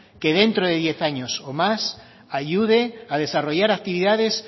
que dentro de diez años o más ayude a desarrollar actividades